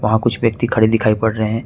वहां कुछ व्यक्ति खड़े दिखाई पड़ रहे हैं।